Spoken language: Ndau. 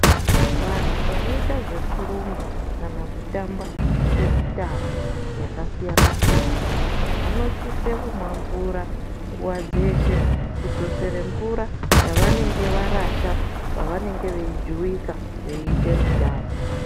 Vantu vanoita zvekurumba kana kutamba kwemitambo yakasiyana -siyana vanosisa kumwa mvura nguwa dzeshe kudzosere mvura yavenenge varasha pavanenge veijuwika veiite mitambo.